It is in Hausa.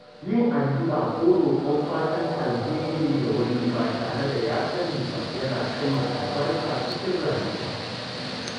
Yin addu’a ko roƙon fatan alheri ga wani ba tare da ya sani ba yana sanya albarka cikin rayuwa.